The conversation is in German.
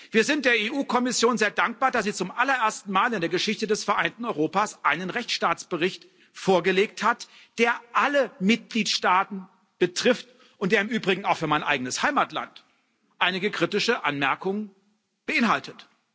Wir sind der EU Kommission sehr dankbar, dass sie zum allerersten Mal in der Geschichte des vereinten Europas einen Rechtsstaatlichkeitsbericht vorgelegt hat, der alle Mitgliedstaaten betrifft und der im Übrigen auch für mein eigenes Heimatland einige kritische Anmerkungen beinhaltet.